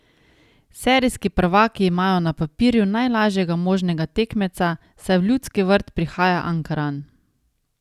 Serijski prvaki imajo na papirju najlažjega možnega tekmeca, saj v Ljudski vrt prihaja Ankaran.